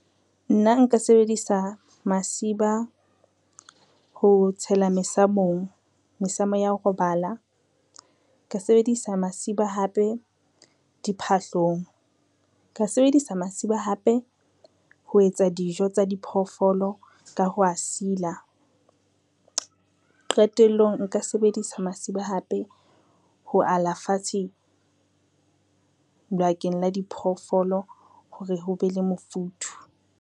Nna nka sebedisa masiba ho tshela mesamong, mesamo ya ho robala, ka sebedisa masiba hape diphahlong, nka sebedisa masiba hape ho etsa dijo tsa diphoofolo ka ho a sila. Qetellong nka sebedisa masiba hape ho ala fatshe bakeng la diphoofolo hore ho be le mofuthu.